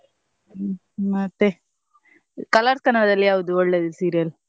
ಮತ್ತೆ Colors Kannada ದಲ್ಲಿ ಯಾವ್ದು ಒಳ್ಳೆದು serial ?